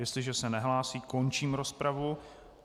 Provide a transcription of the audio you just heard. Jestliže se nehlásí, končím rozpravu.